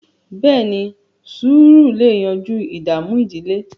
beeni, sùúrù lẹ yanjú ìdààmú ìdílé